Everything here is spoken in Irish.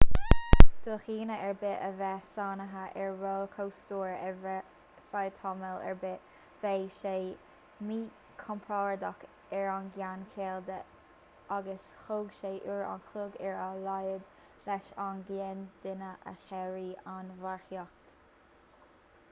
do dhuine ar bith a bheith sáinnithe ar rollchóstóir ar feadh tamall ar bith bheadh sé míchompordach ar an gceann caol de agus thóg sé uair an chloig ar a laghad leis an gcéad duine a shaoradh ón mharcaíocht